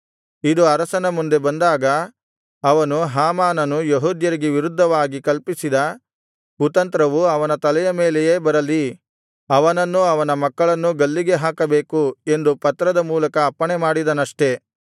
ಇದು ಅರಸನ ಮುಂದೆ ಬಂದಾಗ ಅವನು ಹಾಮಾನನು ಯೆಹೂದ್ಯರಿಗೆ ವಿರುದ್ಧವಾಗಿ ಕಲ್ಪಿಸಿದ ಕುತಂತ್ರವು ಅವನ ತಲೆಯ ಮೇಲೆಯೇ ಬರಲಿ ಅವನನ್ನೂ ಅವನ ಮಕ್ಕಳನ್ನೂ ಗಲ್ಲಿಗೆ ಹಾಕಬೇಕು ಎಂದು ಪತ್ರದ ಮೂಲಕ ಅಪ್ಪಣೆಮಾಡಿದನಷ್ಟೆ